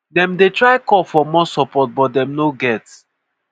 dem dey try call for more support but dem no get.